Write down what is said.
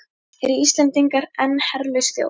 Eru Íslendingar enn herlaus þjóð?